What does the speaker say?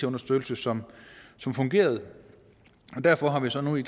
understøttelse som som fungerede derfor har vi så nu i